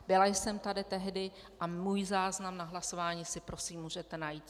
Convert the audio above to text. Byla jsem tady tehdy a můj záznam na hlasování si prosím můžete najít.